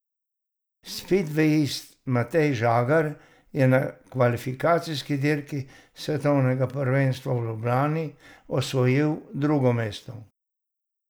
Spidvejist Matej Žagar je na kvalifikacijski dirki svetovnega prvenstva v Ljubljani osvojil drugo mesto.